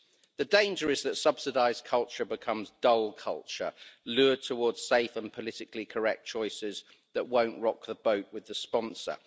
The danger is that subsidised culture becomes dull culture, lured towards safe and politically correct choices that won't rock the boat with the sponsor.